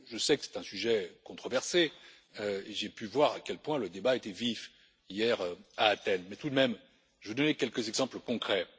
Je sais que c'est un sujet controversé et j'ai pu voir à quel point le débat était vif hier à Athènes mais, tout de même, je vais donner quelques exemples concrets.